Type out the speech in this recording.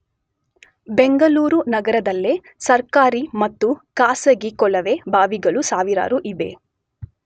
ಬೆಂಗಳೂರು ನಗರದಲ್ಲೇ ಸರ್ಕಾರಿ ಮತ್ತು ಖಾಸಗಿ ಕೊಳವೆ ಬಾವಿಗಳು ಸಾವಿರಾರು ಇವೆ.